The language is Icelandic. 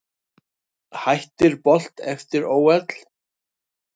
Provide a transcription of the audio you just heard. Hættir Bolt eftir ÓL